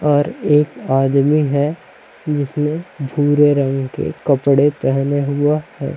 और एक आदमी है जिसने भूरे रंग के कपड़े पहना हुआ है।